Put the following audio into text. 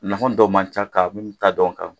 Nafa dɔw man ca ka ta da o kan.